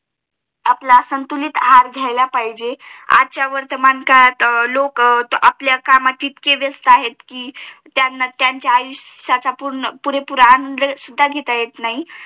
आपला संतुलित आहार घ्यायला पाहिजे आजच्या वर्तमानकाळात लोक आपल्या कामात इतके व्यस्त आहे कि हम्म त्यांना त्यांच्या आयुष्याचा पूर्ण पुरेपूर आनंद सुद्धा घेता येत नाही